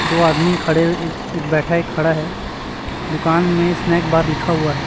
दो आदमी खड़े एक बैठा एक खड़ा है दुकान में स्नैक बार लिखा हुआ है।